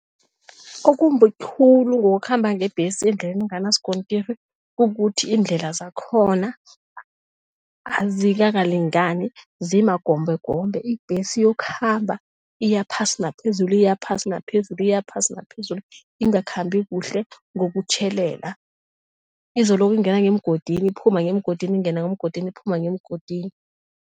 Okumbi khulu ngokukhamba ngebhesi endleleni enganaskontiri kukuthi iindlela zakhona azikakalingani, zimagombeegombe. Ibhesi iyokhamba iyaphasi naphezulu iyaphasi naphezulu iyaphasi naphezulu ingakhambi kuhle ngokutjhelela, izoloku ingena ngemgodini, iphuma ngemgodini, ingena ngemgodini, iphuma ngemgodini.